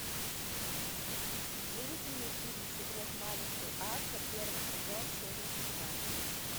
выведи мне фильм секрет маленькой акко первый сезон серия шестнадцать